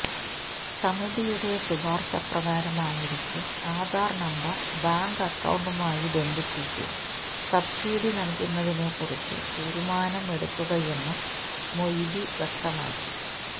സമിതിയുടെ ശുപാര്ശ പ്രകാരമായിരിക്കും ആധാര് നമ്പര് ബാങ്ക്്് അക്കൌണ്ടുമായി ബന്ധിപ്പിച്ച്് സബ്സിഡി നല്കുന്നതിനെ കുറിച്ച് തീരുമാനം എടുക്കുകയെന്നും മൊയ്ലി വ്യക്തമാക്കി